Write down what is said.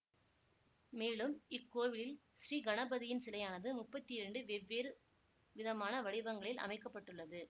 மேலும் இக்கோவிலில் ஸ்ரீகணபதியின் சிலையானது முப்பத்தி இரண்டு வெவ்வேறு விதமான வடிவங்களில் அமைக்க பட்டுள்ளது